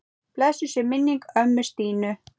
Blessuð sé minning ömmu Stínu.